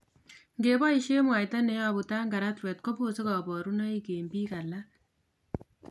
Nge boisien mwaita neyobu tangaratwet kobose kabarunoik en biik alak